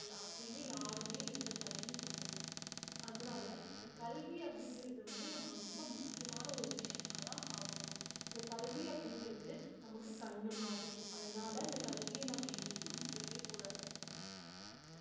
அப்படின்னு யாருமே எந்த தடையும் சொல்லலை அதனால இந்த கல்வி அப்படிங்கிறது வந்து நம்ம ரொம்ப முக்கியமான ஒரு விஷயமாதான் பார்க்கணும் இந்த கல்வி அப்படிங்கிறது நமக்கு கண்ணு மாதிரி அதனால இந்த கல்வியை நம்ம என்றைக்கும் விட்டிடவேகூடாது.